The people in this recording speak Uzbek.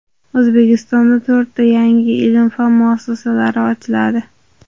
O‘zbekistonda to‘rtta yangi ilm-fan muassasalari ochiladi.